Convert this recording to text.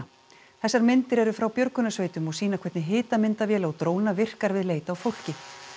þessar myndir eru frá björgunarsveitum og sýna hvernig hitamyndavél á dróna virkar við leit að fólki